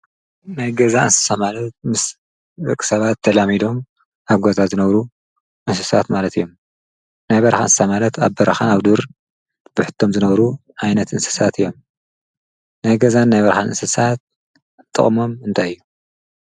ናይ ገዛ እንስማለት ምስርቂሰባት ተላሚዶም ኣጐዛት ዝነብሩ ንስሳት ማለት እዮም ናይ በርኃንሳ ማለት ኣብ በርኻን ኣብ ዱር ብሕቶም ዝነውሩ ኣይነት እንስሳት እዮም ናይገዛን ናይ በርኃን ንስሳት ጥቕሞም እንታይዩ